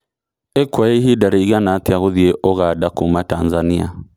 ĩkũoya ĩhinda rĩgana atĩa gũthĩĩ Uganda Kuma Tanzania